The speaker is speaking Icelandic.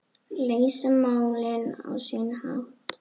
Leysa málin á sinn hátt.